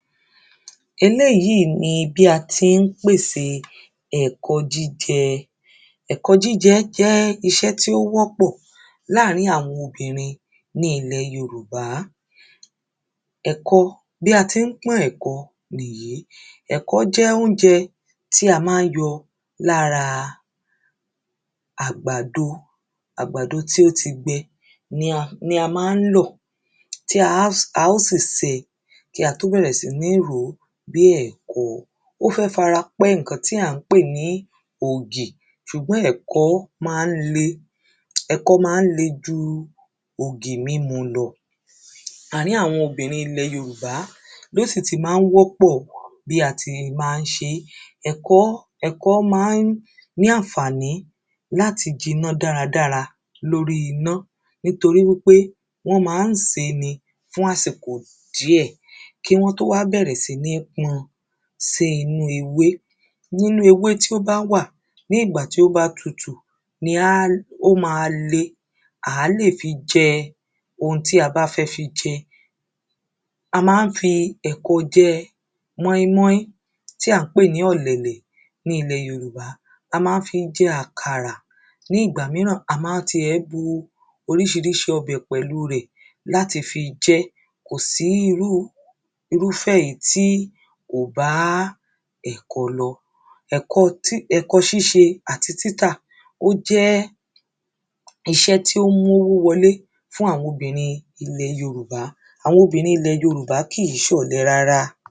Eléèyí ni bí a ti ń pèse nǹkan jíjẹ. Nǹkan jíjẹ jẹ́ iṣé tí ó wọ́pọ̀ láàrin àwọn obìnrin ní ilẹ́ yorùbá Ẹ̀kọ bí a tí ń pọ́n ẹ̀kọ nìyí Ẹ̀kọ jẹ́ óúnjẹ tí a má ń yọ lára àgbàdo àgbàdo tí ó ti gbẹ ni ni a má ń lò tí á ó sì sè kí a tó bẹ̀rẹ̀ sí ní rò bí ẹ̀kọ ó fẹ́ fara pẹ́ nǹkan tí à ń pè ní ògì ṣùgbọ́n ẹ̀kọ ló má ń le ẹ̀kọ má ń le ju ògì múmu lọ. Àrín àwọn obìrin ilẹ̀ yorùbá ló sì tí má ń wọpọ̀ wà bí a ti má ń ṣe é ẹ̀kọ́ ẹ̀kọ́ má ń ní ànfàní láti jiná dáradára lórí iná nítoríwípé wọ́n má ń sè é ni fún àsìkò díẹ̀ kí wọ́n tó wá bẹ̀rẹ̀ sí ní pọn sí inú ewé nínú ewé tí ó bá wà ní ìgbà tí ó bá tutù bójá ó má le à lé fi jẹ ohun tí a bá fẹ́ fi jẹ. A má ń fi ẹ̀kọ jẹ móínmóín tí à ń pè ní ọ̀lẹ̀lẹ̀ ní ilẹ̀ yorùbá a má ń fí jẹ àkàrà ní ìgbà míràn a má ń ti ẹ̀ bu oríṣiríṣi ọbẹ̀ pẹ̀lú rẹ̀ láti fi jẹ́ kò sí irú irúfẹ́ èyí tí ò bá ẹ̀kọ lọ. ẹ̀kọ ṣíse àti ẹ̀kọ títà ó jẹ́ iṣẹ́ tí ó ń mówó wọlé fún àwọn obìnrin ilẹ̀ yorùbá àwọn obìnrin ilẹ̀ yorùbá kìí ṣọ̀lẹ rárá.